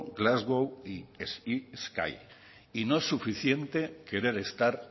glasgow y y no es suficiente querer estar